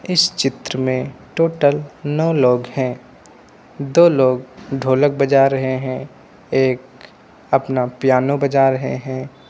इस चित्र में टोटल नौ लोग हैं। दो लोग ढ़ोलक बजा रहे हैं। एक अपना पियानो बजा रहे है।